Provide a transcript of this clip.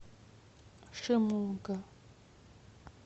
шимога